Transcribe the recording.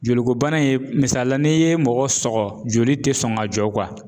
Joliko bana in ye misalila n'i ye mɔgɔ sɔgɔ joli tɛ sɔn ka jɔ